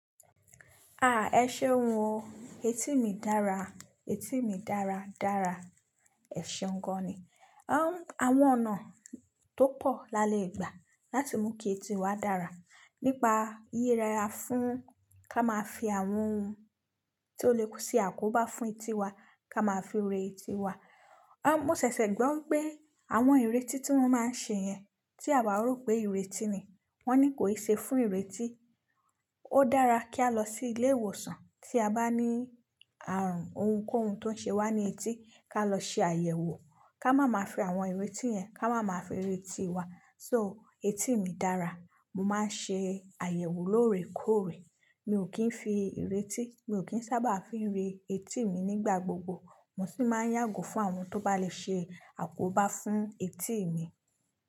Ah! Ẹ ṣeun o. Etí mi dára, etí mi dára dára. Ẹ ṣeuń gan ni. Awọn ọ̀nà tó pọ̀ lalẹ́ ìgbà láti mú kí etí wa dára nípa yíyẹra fún ká máa fi àwọn ohun tó lè ṣe àkóbá fún etí wa, ká máa fi rin etí wa. Mo ṣẹ̀ṣẹ̀ gbọ́ wípé àwọn ìrintí tí wọ́n máa ń ṣe yẹn tí àwa ò rò pé ìrintí ni, wọ́n ní kò ì ṣe fún ìrintí. Ó dára kí a lọ sí ilé ìwòsàn tí a bá ní àrùn ohunkóhun tó ń ṣe wá ní etí ká lọ ṣe àyẹ̀wò, ká máa máa fi àwọn ìrètí yẹn, ká máa máa fi rẹ etí wa. So etí mi dára. Mo máa ń ṣe àyẹ̀wò lóore kóòrè. Mi ò kí ń fi ìrètí, mi ò kí ń sábà fi ń re etí mi nígbà gbogbo. Mo sì máa ń yàgò fún àwọn tó bá lè ṣe àkóbá fún etí mi.